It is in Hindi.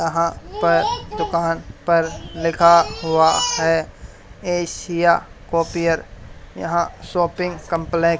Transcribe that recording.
यहां पर दुकान पर लिखा हुआ है एशिया कॉपियर यहां शॉपिंग कॉम्प्लेक --